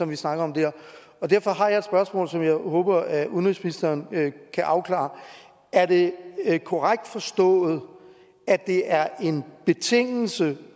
vi snakker om der derfor har jeg et spørgsmål som jeg håber at udenrigsministeren kan afklare er det korrekt forstået at det er en betingelse